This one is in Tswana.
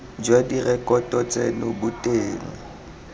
jwa direkoto tseno bo teng